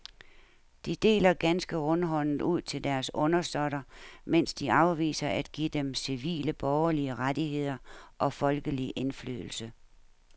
De deler ganske rundhåndet ud til deres undersåtter, mens de afviser at give dem civile borgerlige rettigheder og folkelig indflydelse.